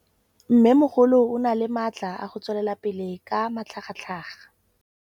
Mmêmogolo o na le matla a go tswelela pele ka matlhagatlhaga.